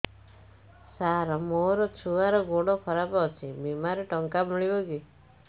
ସାର ମୋର ଛୁଆର ଗୋଡ ଖରାପ ଅଛି ବିମାରେ ଟଙ୍କା ମିଳିବ କି